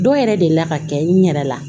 Dɔw yɛrɛ delila ka kɛ n yɛrɛ la